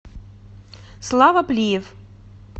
слава плиев